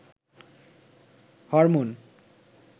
hormone